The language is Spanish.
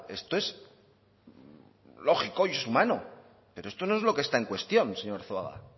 esto es lógico y es humano pero esto no es lo que está en cuestión señor arzuaga